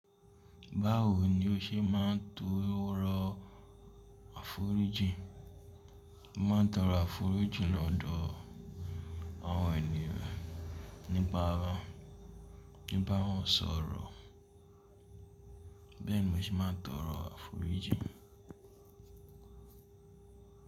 Báwo ni o ṣe máà ń tọrọ àforíjìn? Mo máà ń tọrọ àforíjìn lọ́dọ̀ àwọn ènìyàn nípa, tí bá wọ́n sọ̀rọ̀, bẹ́ẹ̀ ni mo ṣe máà ń tọrọ àforíjìn.